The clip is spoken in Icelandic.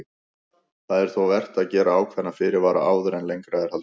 Það er þó vert að gera ákveðna fyrirvara áður en lengra er haldið.